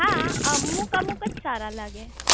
હા અમુક અમુક જ સારા લાગે